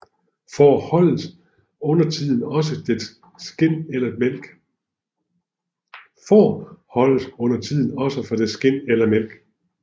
Får holdes undertiden også for dets skind eller mælk